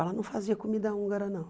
Ela não fazia comida húngara, não.